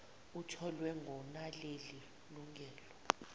atholwe ngonaleli lungelo